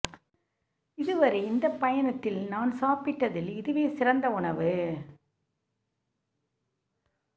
இதுவரை இந்த பயணத்தில் நான் சாப்பிட்டதில் இதுவே சிறந்த உணவு